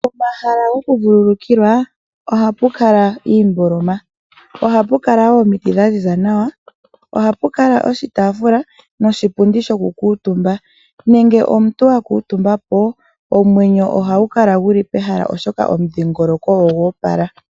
Pomahala gokuvulukilwa ohapu kala iimboloma, ohapu kala woo omiti dha ziza nawa, ohapu kala wo oshitaafula noshipundi shokukuutumba. Ngele omuntu wakuutumbapo omwenyo ohagu kala guli pehala molwaashoka omudhingoloko ogo opala.